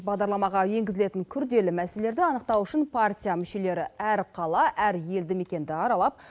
бағдарламаға енгізілетін күрделі мәселелерді анықтау үшін партия мүшелері әр қала әр елді мекенді аралап